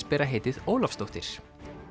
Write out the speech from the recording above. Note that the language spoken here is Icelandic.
bera heitið Ólafsdóttir